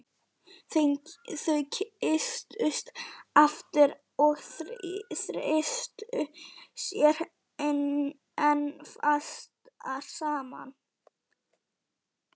Þau kysstust aftur og þrýstu sér enn fastar saman.